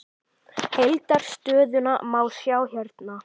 Heildar stöðuna má sjá hérna.